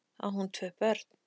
Á hún tvö börn.